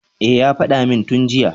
E, ya faɗa min tun jiya.